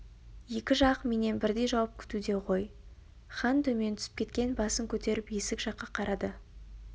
екі жақ менен бірдей жауап күтуде ғой хан төмен түсіп кеткен басын көтеріп есік жаққа қарады